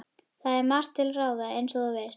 Það er margt til ráða, eins og þú veist